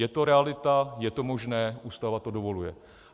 Je to realita, je to možné, Ústava to dovoluje.